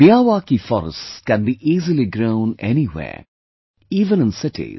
Miyawaki forests can be easily grown anywhere, even in cities